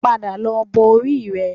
Padà lọ bọ orí rẹ